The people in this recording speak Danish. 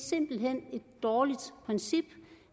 dårligt princip